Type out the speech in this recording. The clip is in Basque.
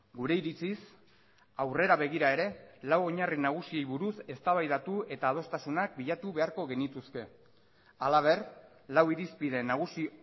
gure iritziz aurrera begira ere lau oinarri nagusiei buruz eztabaidatu eta adostasunak bilatu beharko genituzke halaber lau irizpide nagusi